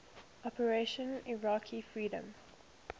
operation iraqi freedom